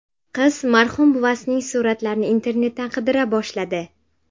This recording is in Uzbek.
Qiz marhum buvasining suratlarini internetdan qidira boshladi.